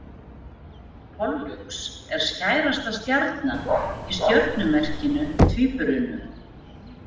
Pollux er skærasta stjarnan í stjörnumerkinu Tvíburunum.